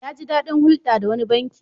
Ya ji daɗin hulɗa da wani banki.